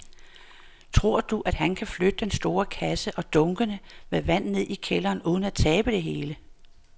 Tror du, at han kan flytte den store kasse og dunkene med vand ned i kælderen uden at tabe det hele?